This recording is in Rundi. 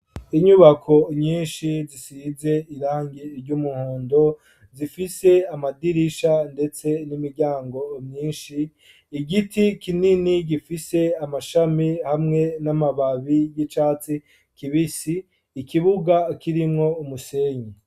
Inyubako nyishi zisize irangi ry'umuhondo zifise amadirisha ndetse n'imiryango myishi, igiti kinini gifise amashami hamwe n'amababi y'icatsi kibisi, ikibuga kirimwo umusenyi.